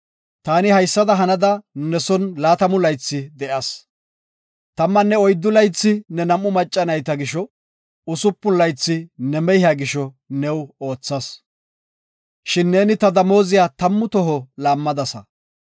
Taani haysada hanada ne son laatamu laythi de7as. Tammanne oyddu laythi ne nam7u macca nayta gisho, usupun laythi ne mehiya gisho new oothas. Shin neeni ta damooziya tammu toho laammadasa.